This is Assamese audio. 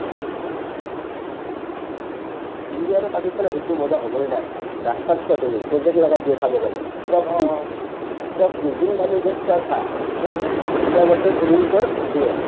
ইণ্ডিয়া আৰু পাকিস্তানৰ hit টো মজা হ'বয়ে না ৰাস্তাত চোৱা তুমি প্ৰজেক্ট লগাই দিয়ে চাবৰ কাৰণে পূৰা free পূৰা free যোন মানুহ য'ত চোৱা চা পূৰা free India Pakistan is only for এইটোয়ে